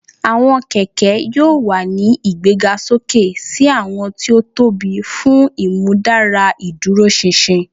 Awọn kẹkẹ yoo wa ni igbegasoke si awọn ti o tobi fun imudara iduroṣinṣin